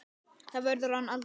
Það verður hann aldrei.